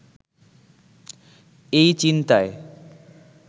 এই চিন্তায়